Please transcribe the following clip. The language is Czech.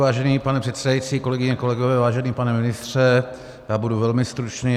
Vážený pane předsedající, kolegyně, kolegové, vážený pane ministře, já budu velmi stručný.